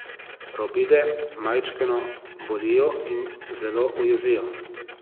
Robide majčkeno bolijo in zelo ujezijo.